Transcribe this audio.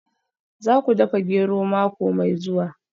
Za ku dafa gero mako mai zuwa